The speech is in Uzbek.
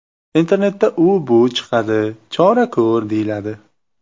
Internetda u-bu chiqadi, chora ko‘r, deyiladi.